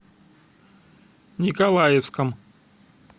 николаевском